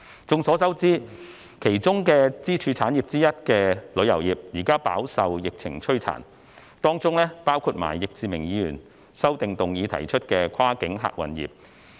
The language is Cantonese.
眾所周知，其中的支柱產業之一的旅遊業，現時飽受疫情摧殘，當中包括易志明議員修正案提出的跨境客運業。